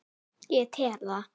Ég tel það.